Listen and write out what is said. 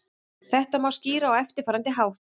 Þetta má skýra á eftirfarandi hátt.